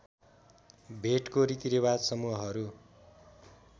भेटको रीतिरिवाज समूहहरू